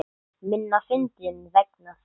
Minna fyndinn vegna þeirra.